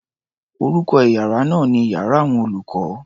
Orúkọ iyàrá náà ni iyàrá àwọn olùkó.